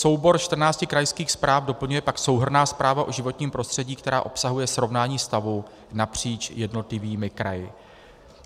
Soubor 14 krajských zpráv doplňuje pak souhrnná zpráva o životním prostředí, která obsahuje srovnání stavu napříč jednotlivými kraji.